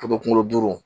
kunkolo duuru